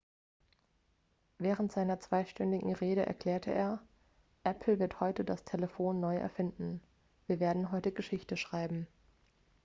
während seiner zweistündigen rede erklärte er apple wird heute das telefon neu erfinden wir werden heute geschichte schreiben